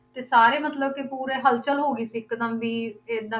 ਤੇ ਸਾਰੇ ਮਤਲਬ ਕਿ ਪੂਰੇ ਹਲਚਲ ਹੋ ਗਈ ਸੀ ਇੱਕਦਮ ਵੀ ਏਦਾਂ